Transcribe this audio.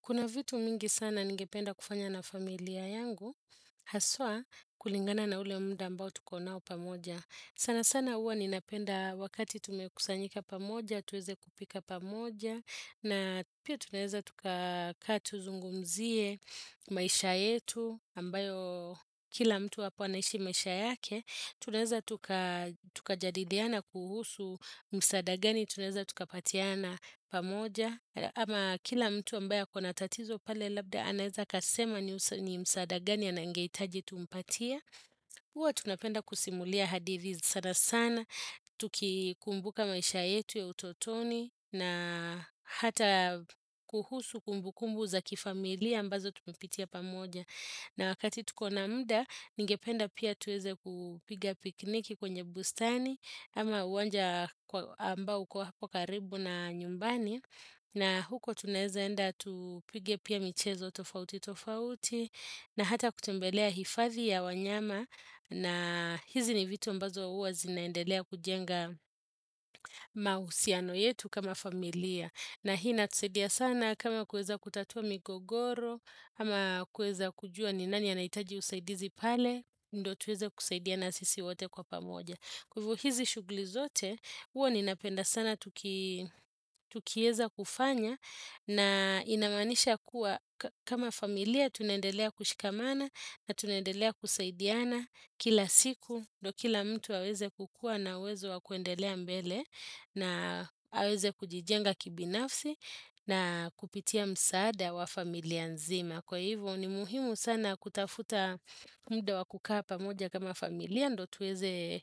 Kuna vitu mingi sana ningependa kufanya na familia yangu, haswa kulingana na ule muda ambao tuko nao pamoja. Sana sana uwa ninapenda wakati tumekusanyika pamoja, tuweze kupika pamoja, na pia tuneza tukakaa tuzungumzie, maisha yetu, ambayo kila mtu wapanaishi maisha yake. Tunaweza tukajadidiana kuhusu msada gani, tunaweza tukapatiana pamoja ama kila mtu ambaya ako na tatizo pale labda anaeza kasema ni msada gani anangeitaji tumpatia Uwa tunapenda kusimulia hadidhi sana sana Tukikumbuka maisha yetu ya utotoni na hata kuhusu kumbukumbu za kifamilia ambazo tumepitia pamoja na wakati tukona muda, ningependa pia tuweze kupiga pikniki kwenye bustani, ama uwanja ambao kwa karibu na nyumbani, na huko tuneze enda tupige pia michezo tofauti tofauti, na hata kutembelea hifathi ya wanyama, na hizi ni vitu mbazo uwa zinaendelea kujenga mahusiano yetu kama familia. Na hii inatuseidia sana kama kueza kutatua migogoro, ama kueza kujua ni nani anaitaji usaidizi pale, ndo tuweze kusaidiana sisi wate kwa pamoja. Kwa hivyo hizi shugli zote uo ni napenda sana tukieza kufanya na inamanisha kuwa kama familia tunendelea kushikamana na tunendelea kusaidiana kila siku do kila mtu aweze kukua na wezo wa kuendelea mbele na aweze kujijenga kibinafsi na kupitia msaada wa familia nzima. Na kwa hivyo ni muhimu sana kutafuta muda wa kukaa pamoja kama familia. Ndo tuweze